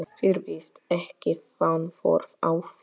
Virðist ekki vanþörf á því.